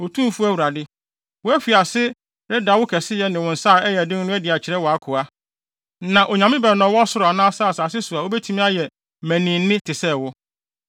“Otumfo Awurade, woafi ase reda wo kɛseyɛ ne wo nsa a ɛyɛ den no adi akyerɛ wʼakoa. Na onyame bɛn na ɔwɔ ɔsoro anaa asase so a obetumi ayɛ mmaninne te sɛ wo?